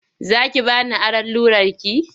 Za ki ba ni aron rularki?